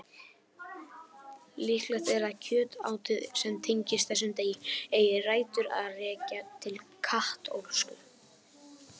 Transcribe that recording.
Líklegt er að kjötátið sem tengist þessum degi eigi rætur að rekja til katólsku.